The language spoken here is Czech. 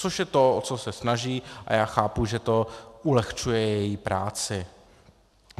Což je to, o co se snaží, a já chápu, že to ulehčuje její práci.